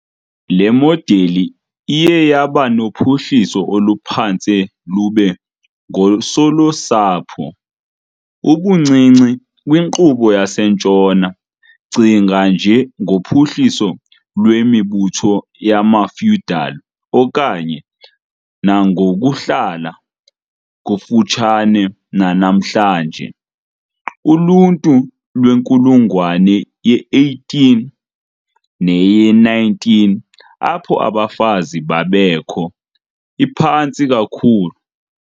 le modeli iye yaba nophuhliso oluphantse lube ngoosolusapho, ubuncinci kwinkqubo yaseNtshona, cinga nje ngophuhliso lwemibutho yamafeudal okanye, nangokuhlala kufutshane nanamhlanje, uluntu lwenkulungwane ye-18 neye-19, apho abafazi babekho. iphantsi kakhulu.